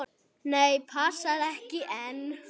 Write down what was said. Nei, passar ekki enn!